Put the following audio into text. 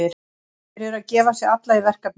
Þeir eru að gefa sig alla í verkefnið.